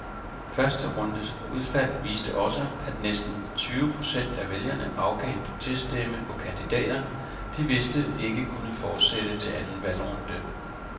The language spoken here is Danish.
Første rundes udfald viste også, at næsten tyve procent af vælgerne afgav en proteststemme på kandidater, de vidste ikke kunne fortsætte til anden valgrunde.